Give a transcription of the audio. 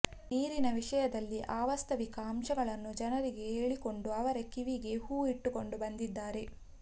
ನೀರಿನ ವಿಷಯದಲ್ಲಿ ಅವಾಸ್ತವಿಕ ಅಂಶಗಳನ್ನು ಜನರಿಗೆ ಹೇಳಿಕೊಂಡು ಅವರ ಕಿವಿಗೆ ಹೂವು ಇಟ್ಟುಕೊಂಡು ಬಂದಿದ್ದಾರೆ